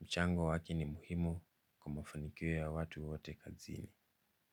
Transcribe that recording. mchango wake ni muhimu kwa mafanikio ya watu wote kazini.